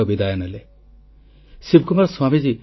• ଦକ୍ଷିଣ ଏସିଆ ଉପଗ୍ରହ ପଡ଼ୋଶୀ ମିତ୍ର ରାଷ୍ଟ୍ରମାନଙ୍କୁ ବିକାଶର ଉପହାର